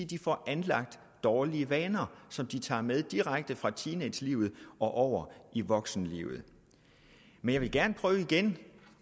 de får anlagt dårlige vaner som de tager med direkte fra teenagelivet og over i voksenlivet men jeg vil gerne prøve igen